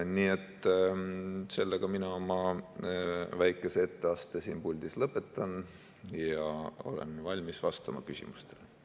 Nii et mina oma väikese etteaste siin puldis lõpetan ja olen valmis vastama küsimustele.